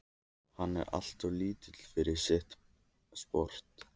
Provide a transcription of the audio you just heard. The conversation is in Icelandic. Hann er alltof lítill fyrir sitt sport.